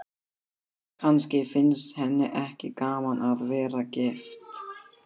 Kannski finnst henni ekki gaman að vera gift.